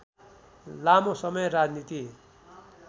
लामो समय राजनीति